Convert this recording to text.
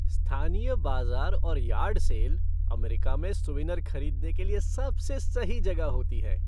स्थानीय बाजार और यार्ड सेल अमेरिका में सूवेनिर खरीदने के लिए सबसे सही जगह होती हैं।